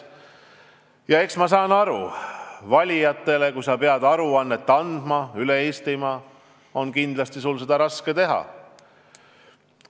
Ja eks ma saan aru, et kui sa peaksid andma aru oma valijatele üle Eestimaa, siis sul oleks kindlasti seda raske teha.